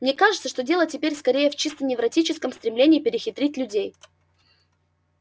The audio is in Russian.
мне кажется что дело теперь скорее в чисто невротическом стремлении перехитрить людей